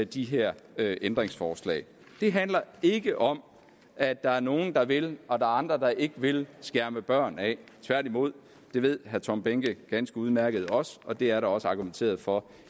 de her her ændringsforslag det handler ikke om at der er nogle der vil og der er andre der ikke vil skærme børn af tværtimod det ved herre tom behnke ganske udmærket også og det er der også argumenteret for